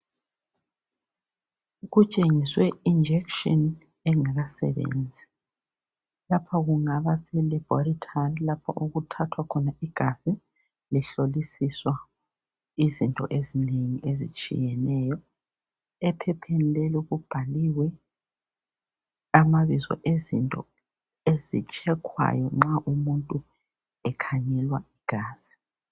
Kutshengiswe injection engakasebenzi lapha kungaba selebhorethari lapho okuthathwa khona igazi lihlolisiswa izinto ezinengi ezitshiyeneyo, ephepheni lelo kubhaliwe amabizo ezinto ezitshekhwayo nxa umuntu ekhangelwa igazi.